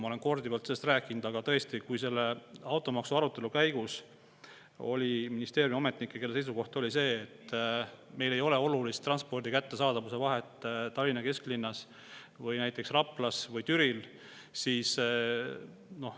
Ma olen korduvalt sellest rääkinud, aga tõesti, automaksu arutelu käigus oli ministeeriumiametnikke, kelle seisukoht oli see, et meil ei ole Tallinna kesklinnas või näiteks Raplas või Türil olulist transpordi kättesaadavuse vahet.